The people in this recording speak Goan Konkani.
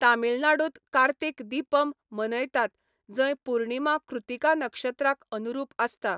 तमिळनाडूंत कार्तिक दीपम मनयतात जंय पूर्णिमा कृतिका नक्षत्राक अनुरूप आसता.